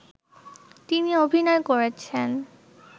তিনি অভিনয় করেছেন